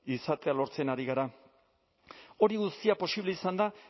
izatea lortzen ari gara hori guztia posible izan da